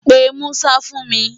Pe Musa fún mi!